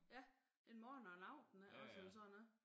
Ja en morgen og en aften ikke også eller sådan noget